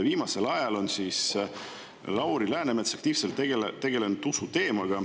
Viimasel ajal on Lauri Läänemets aktiivselt tegelenud usuteemaga.